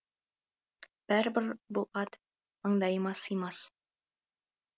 бәрібір бұл ат маңдайыма сыймас